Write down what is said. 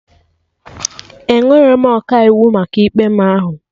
Enwerọ m Ọkaiwu maka ikpe mụ ahụ